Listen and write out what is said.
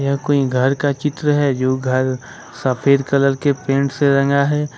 यह कोई घर का चित्र है जो घर सफेद कलर के पेंट से रंगा है।